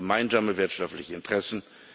Wir haben gemeinsame wirtschaftliche Interessen.